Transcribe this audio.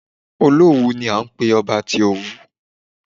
Olówù ni à ń pé ọba tí Òwu.